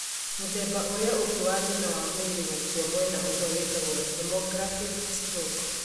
Mũthemba ũrĩa ũngĩ wa thĩna wa mwĩrĩ gũkua mwena ũmwe wĩtagwo hemorrhagic stroke